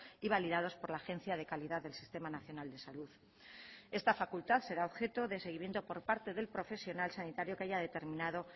y validados por la agencia de calidad del sistema nacional de salud esta facultad será objeto de seguimiento por parte del profesional sanitario que haya determinado